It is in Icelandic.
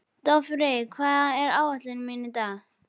Dofri, hvað er á áætluninni minni í dag?